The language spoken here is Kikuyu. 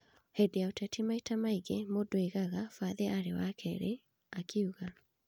"Hĩndĩ ya ũteti maita mangĩ mũndũ agĩaga bathi arĩ wa keerĩ ,"akiuga